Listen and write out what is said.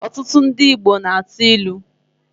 Ọtụtụ ndị Igbo na-atụ ilu.